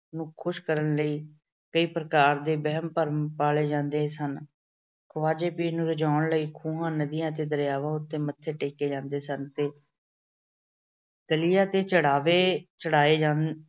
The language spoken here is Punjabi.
ਨੂੰ ਖੁਸ਼ ਕਰਨ ਲਈ ਕਈ ਪ੍ਰਕਾਰ ਦੇ ਵਹਿਮ-ਭਰਮ ਪਾਲੇ ਜਾਂਦੇ ਸਨ। ਖਵਾਜਾ ਪੀਰ ਨੂੰ ਰਜਾਉਣ ਲਈ ਖੂਹਾਂ, ਨਦੀਆਂ ਤੇ ਦਰਿਆਵਾਂ ਉਤੇ ਮੱਥੇ ਟੇਕੇ ਜਾਂਦੇ ਸਨ ਤੇ ਤੇ ਚੜਾਵੇ ਚੜਾਏ ਜਾਂਦੇ